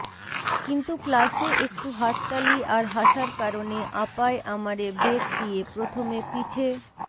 কিন্তু ক্লাসে একটু হাততালি আর হাসার কারণে আপায় আমারে বেত দিয়ে প্রথমে পিঠে